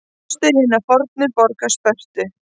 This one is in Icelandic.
Rústir hinnar fornu borgar Spörtu.